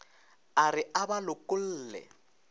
a re a ba lokolle